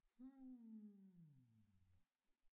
Hm